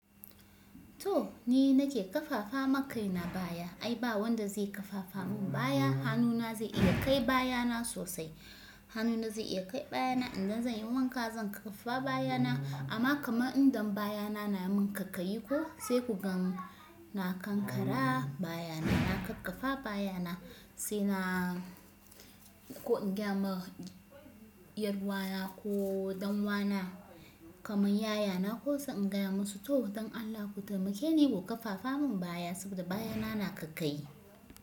To ni nake kafafa ma kaina baya. Ai ba wanda zai kafafa mun baya, hannuna zai iya kai bayana sosai. Hannuna zai iya kai bayana idan zan yi wanka, zan kafafa bayana. Amma kamar idan bayana na mun kaikayi ko sai kugan na kankara baya na, na kakkafa baya na sai na ko in gaya ma 'yar uwana ko ɗan uwana kamar yayana ko sai in gaya masu to don Allah ku taimake ni ku kakafafa mun baya saboda baya na na kaikayi.